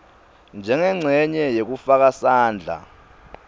njengencenye yekufaka sandla